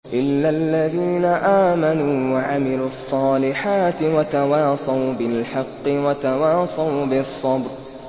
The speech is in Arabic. إِلَّا الَّذِينَ آمَنُوا وَعَمِلُوا الصَّالِحَاتِ وَتَوَاصَوْا بِالْحَقِّ وَتَوَاصَوْا بِالصَّبْرِ